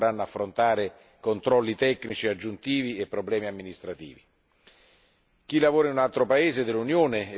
I cittadini che acquistano un'auto usata in un altro paese non dovranno affrontare controlli tecnici aggiuntivi e problemi amministrativi.